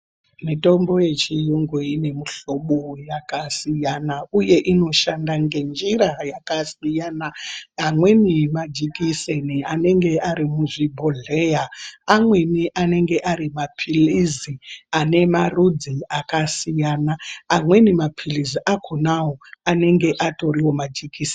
Mitombo yechiyungu inemuhlobo yakasiyana uye inoshanda ngenjira yakasiyana amweni majekiseni anenge arimuzvibhodhleya amweni anenge arimaphilizi anemarudzi akasiyana, amweni maphilizi akonawo anenge atoriwo majekiseni.